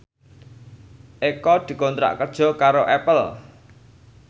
Eko dikontrak kerja karo Apple